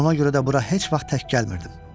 Ona görə də bura heç vaxt tək gəlmirdim.